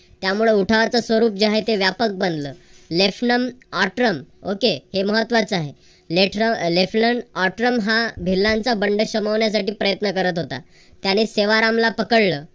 त्यामुळे उठावाच स्वरूप जे आहे ते व्यापक बनलं okay हे महत्त्वाचा आहे हा भिल्लांचा बंड शमवण्यासाठी प्रयत्न करत होता. त्याने सेवारामला पकडल.